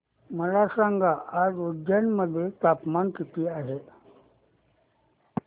मला सांगा आज उज्जैन मध्ये तापमान किती आहे